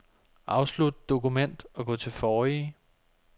Afslut dokument og gå til forrige.